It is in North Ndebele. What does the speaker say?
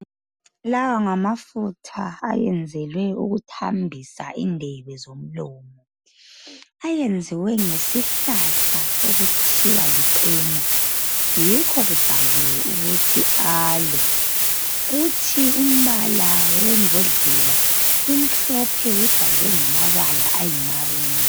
Lawa ngamafutha ayenzelwe ukuthambisa indebe zomlomo. Ayenziwe ngesihlahla okuthiwa licena, yikho kubhaliwe ukuthi 'Alo.' Kuthi umbala wembodlela, imhlophe ibhalwe ngamabala ayimaruni.